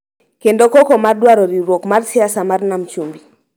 kendo koko mar dwaro riwruok mar siasa mar Nam Chumbi